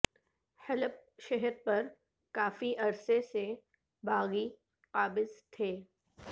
حلب شہر پر کافی عرصے سے باغی قابض تھے